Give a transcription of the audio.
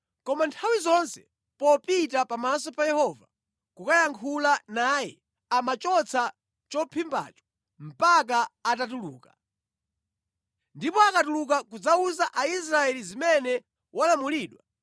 Koma nthawi zonse popita pamaso pa Yehova kukayankhula naye amachotsa chophimbacho mpaka atatuluka. Ndipo akatuluka kudzawuza Aisraeli zimene walamulidwa,